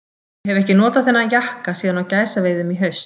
Ég hef ekki notað þennan jakka síðan á gæsaveiðum í haust.